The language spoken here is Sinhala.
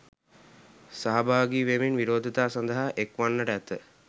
සහභාගි වෙමින් විරෝධතා සඳහා එක් වන්නට ඇත.